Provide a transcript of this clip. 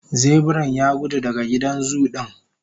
zebiran Yagudu daga gidan zu din